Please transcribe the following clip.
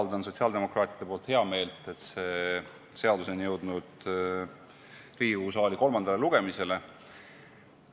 Avaldan sotsiaaldemokraatide nimel heameelt, et see seadus on jõudnud Riigikogu saali kolmandale lugemisele.